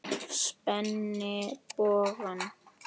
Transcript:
Spenni bogann.